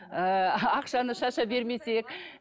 ы ақшаны шаша бермесек